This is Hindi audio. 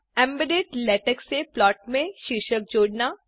एम्बेडेड लेटेक से प्लॉट में शीर्षक जोडना